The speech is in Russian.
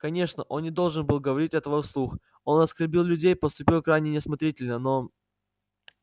конечно он не должен был говорить этого вслух он оскорбил людей поступил крайне неосмотрительно но